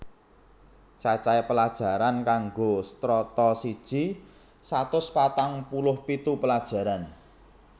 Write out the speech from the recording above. Cacahe pelajaran kanggo Strata siji satus patang puluh pitu pelajaran